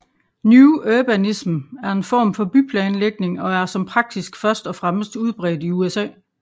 New Urbanism er en form for byplanlægning og er som praksis først og fremmest udbredt i USA